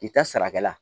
I ta sarakɛla